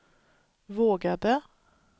vågade